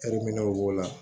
b'o la